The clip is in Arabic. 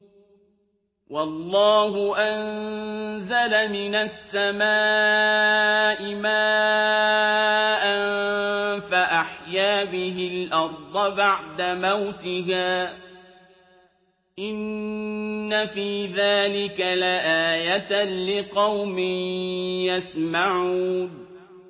وَاللَّهُ أَنزَلَ مِنَ السَّمَاءِ مَاءً فَأَحْيَا بِهِ الْأَرْضَ بَعْدَ مَوْتِهَا ۚ إِنَّ فِي ذَٰلِكَ لَآيَةً لِّقَوْمٍ يَسْمَعُونَ